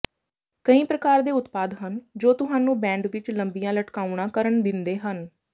ਕਈ ਪ੍ਰਕਾਰ ਦੇ ਉਤਪਾਦ ਹਨ ਜੋ ਤੁਹਾਨੂੰ ਬੈਂਡ ਵਿੱਚ ਲੰਬੀਆਂ ਲਟਕਾਉਣਾ ਕਰਨ ਦਿੰਦੇ ਹਨ